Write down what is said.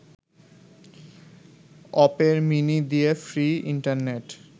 Opera Mini দিয়ে free internet